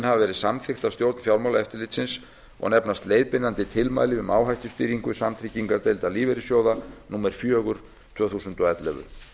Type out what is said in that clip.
hafa verið samþykkt af stjórn fjármálaeftirlitsins og nefnast leiðbeinandi tilmæli um áhættustýringu samtryggingardeilda lífeyrissjóða númer fjögur tvö þúsund og ellefu